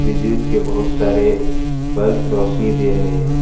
विद्युत के बहुत सारे बल्ब रोशनी दे रहे हैं।